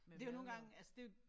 Det jo nogle gange altså det jo